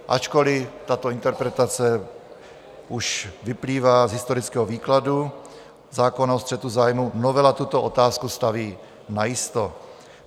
Ačkoli tato interpretace už vyplývá z historického výkladu zákona o střetu zájmů, novela tuto otázku staví najisto.